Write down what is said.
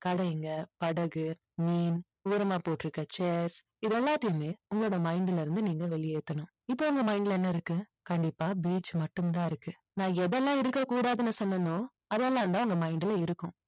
கடைங்க, படகு, மீன் ஓரமா போட்டுருக்க chair இது எல்லாத்தையுமே உங்களோட mind ல இருந்து நீங்க வெளியேத்தணும். இப்போ உங்க mind ல என்ன இருக்கு? கண்டிப்பா beach மட்டும்தான் இருக்கு. நான் எதெல்லாம் இருக்கக்கூடாதுன்னு சொன்னேனோ அதெல்லாம் தான் உங்க mind ல இருக்கும்.